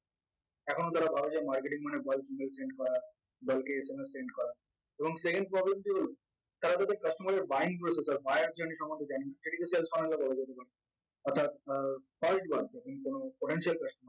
এখনও যারা ভাবে যে marketing মানে voice email করা bulk এ SMS send করা এবং second problem টি হল তারা তাদের customer এর buying process or buyer সম্বন্ধে জানে না সেটিকে অর্থাৎ আহ third one potential customer